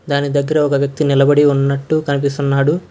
దాని దగ్గర ఒక వ్యక్తి నిలబడి ఉన్నట్టు కనిపిస్తున్నాడు.